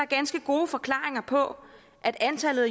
ganske gode forklaringer på at antallet af